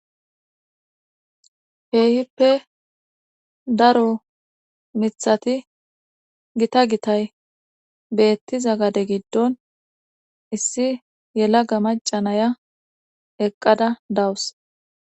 keehippe daro mithati gita gitay beettiza gade giddon issi yelaga maca nayiya eqqada dawus.